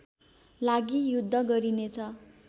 लागि युद्ध गरिनेछ